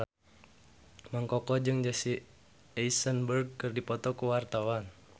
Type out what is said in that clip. Mang Koko jeung Jesse Eisenberg keur dipoto ku wartawan